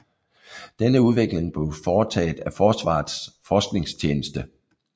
Denne udvikling blev foretaget af Forsvarets Forskningstjeneste